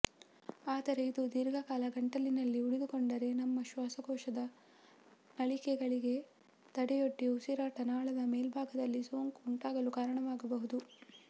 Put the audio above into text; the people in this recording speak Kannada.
ಆದರೆ ಇದು ದೀರ್ಘಕಾಲ ಗಂಟಲಿನಲ್ಲಿ ಉಳಿದುಕೊಂಡರೆ ನಮ್ಮ ಶ್ವಾಸಕೋಶದ ನಳಿಕೆಗಳಿಗೆ ತಡೆಯೊಡ್ಡಿ ಉಸಿರಾಟ ನಾಳದ ಮೇಲ್ಭಾಗದಲ್ಲಿ ಸೋಂಕು ಉಂಟಾಗಲು ಕಾರಣವಾಗಬಹುದು